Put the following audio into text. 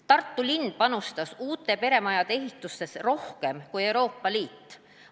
Tartu linn panustas uute peremajade ehitusse rohkem kui Euroopa Liit.